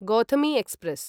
Gautami express